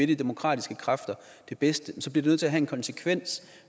de demokratiske kræfter det bedste så bliver det nødt til at have en konsekvens